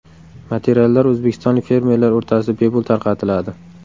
Materiallar o‘zbekistonlik fermerlar orasida bepul tarqatiladi.